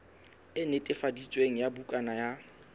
e netefaditsweng ya bukana ya